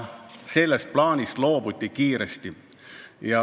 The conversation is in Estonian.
Sellest plaanist aga loobuti kiiresti.